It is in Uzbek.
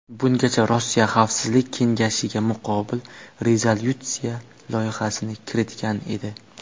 Bungacha Rossiya Xavfsizlik kengashiga muqobil rezolyutsiya loyihasini kiritgan edi.